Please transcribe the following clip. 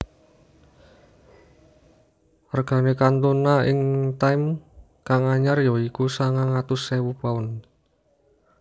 Regane Cantona ing time kang anyar ya iku sangang atus ewu pounds